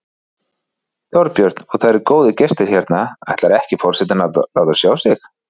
Þorbjörn: Og það eru góðir gestir hérna, ætlar ekki forsetinn að láta sjá sig?